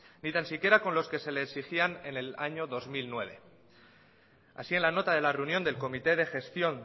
ni tan siquiera con los que se les exigía en el año dos mil nueve así en la nota de la reunión del comité de gestión